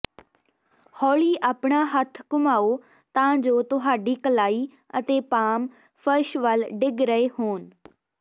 ਹੌਲੀ ਆਪਣਾ ਹੱਥ ਘੁਮਾਓ ਤਾਂ ਜੋ ਤੁਹਾਡੀ ਕਲਾਈ ਅਤੇ ਪਾਮ ਫਰਸ਼ ਵੱਲ ਡਿੱਗ ਰਹੇ ਹੋਣ